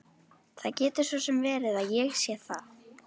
Það getur svo sem verið að ég sé það.